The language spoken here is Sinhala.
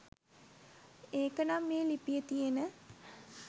ඒකනම් මේ ලිපියේ තියෙන